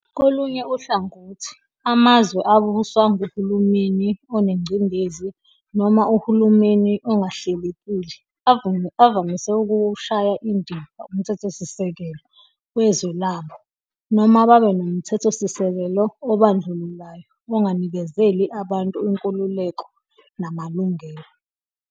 Kolunye uhlangothi, amazwe abuswa nguhulumeni onencindezi noma uhulumeni ongahlelekile avamise ukuwushaya indiva umthethosisekelo wezwe labo, noma babe nomthethosisekelo obandlululayo, onganikezeli abantu inkululeko namalungelo.